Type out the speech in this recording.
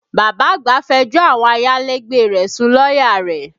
Bàbá àgbà fẹjọ́ àwọn ayálégbé rẹ̀ sun lọ́yà rẹ̀